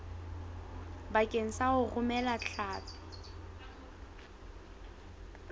bakeng sa ho romela hlapi